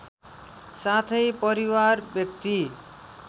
साथै परिवार व्यक्ति